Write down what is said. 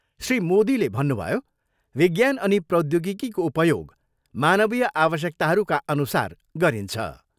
श्री मोदीले भन्नुभयो, विज्ञान अनि प्रौद्योगिकीको उपयोग मानवीय आवश्यकताहरूका अनुसार गरिन्छ।